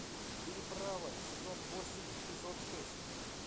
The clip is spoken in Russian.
переправа сезон восемь эпизод шесть